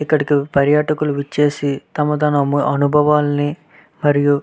ఎక్కడికి పర్యాటకులు విచ్చేసి తమ తమ అనుభవాలాను మరియు --